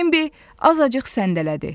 Benbi azacıq səndələdi.